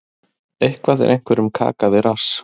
Eitthvað er einhverjum kaka við rass